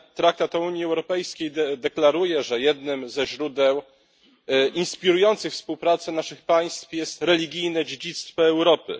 Traktat o Unii Europejskiej deklaruje, że jednym ze źródeł inspirujących współpracę naszych państw jest religijne dziedzictwo Europy.